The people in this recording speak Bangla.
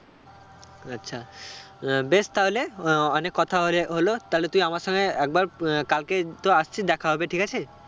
আচ্ছা আহ বেশ তাহলে অ~ অনেক কথা ওরে হলো তাহলে তুই আমার সঙ্গে একবার উম আহ কালকে তো আসছিস দেখা হবে. ঠিক আছে?